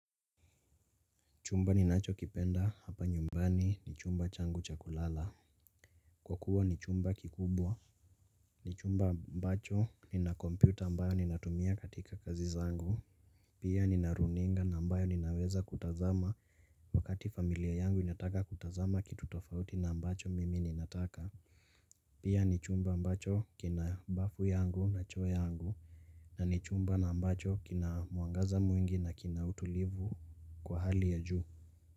Chumba ni nacho kipenda hapa nyumbani ni chumba changu cha kulala. Kwa kuwa ni chumba kikubwa. Ni chumba mbacho ni na computer ambayo ni natumia katika kazi zangu. Pia ni naruninga na mbayo ni naweza kutazama wakati familia yangu inataka kutazama kitutofauti na mbacho mimi inataka. Pia ni chumba mbacho kina bafu yangu na choo yangu na ni chumba na mbacho kina muangaza mwingi na kina utulivu kwa hali ya juu.